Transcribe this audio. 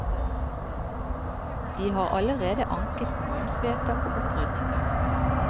De har allerede anket kommunens vedtak om opprydning.